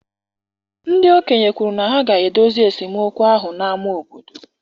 Ndị okenye kwuru na ha ga-edozi esemokwu ahụ n'ámá obodo.